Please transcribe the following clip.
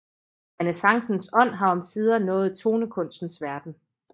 Renæssancens ånd har omsider nået tonekunstens verden